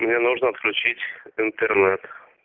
мне нужно отключить интернет